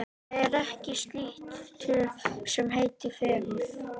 Það er ekkert slíkt til sem heitir fegurð.